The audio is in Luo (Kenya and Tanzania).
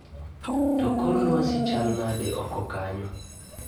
To kor lwasi chal nade oko kanyo